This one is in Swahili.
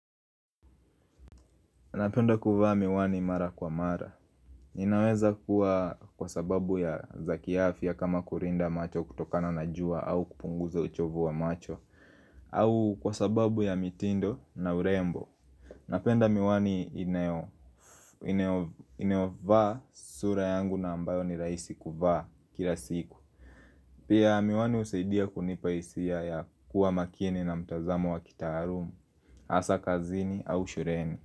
Napenda kuvaa miwani mara kwa mara. Inaweza kuwa kwa sababu ya za kiafia kama kulinda macho kutokana na jua au kupunguza uchovu wa macho. Au kwa sababu ya mitindo na urembo. Napenda miwani nayofaa sura yangu na ambayo ni rahisi kuvaa kila siku. Pia miwani husaidia kunipa hisia ya kuwa makini na mtazamo wa kitaalumu, hasa kazini au shuleni.